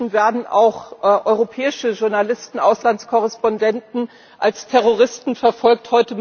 Inzwischen werden auch europäische Journalisten, Auslandskorrespondenten als Terroristen verfolgt.